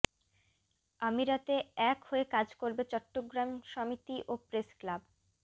আমিরাতে এক হয়ে কাজ করবে চট্টগ্রাম সমিতি ও প্রেসক্লাব